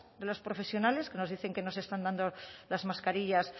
de los profesionales que nos dicen que no se están dando las mascarillas